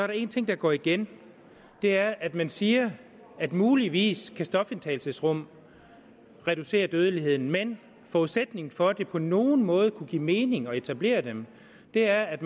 der én ting der går igen og det er at man siger at muligvis kan stofindtagelsesrum reducere dødeligheden men forudsætningen for at det på nogen måde skal kunne give mening at etablere dem er at